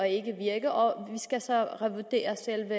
ikke virke og vi skal så revurdere selve